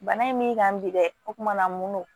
Bana in m'i kan bi dɛ o kumana mun na